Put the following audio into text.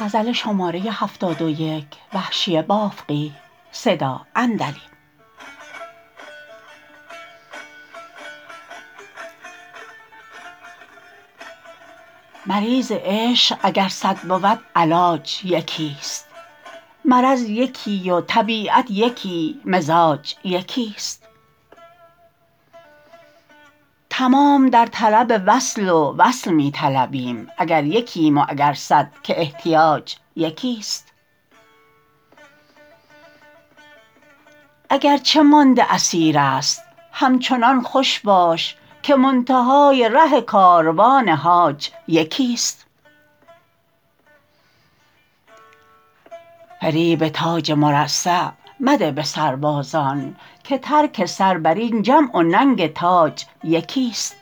مریض عشق اگر صد بود علاج یکیست مرض یکی و طبیعت یکی مزاج یکیست تمام در طلب وصل و وصل می طلبیم اگر یکیم و اگر صد که احتیاج یکیست اگر چه مانده اسیر است همچنان خوش باش که منتهای ره کاروان حاج یکیست فریب تاج مرصع مده به سربازان که ترک سر بر این جمع و ننگ تاج یکیست